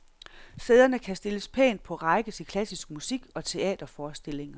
Sæderne kan stilles pænt på række til klassisk musik og teaterforestillinger.